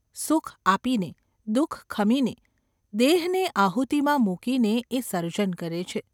સુખ આપીને, દુઃખ ખમીને, દેહને આહુતિમાં મૂકીને એ સર્જન કરે છે.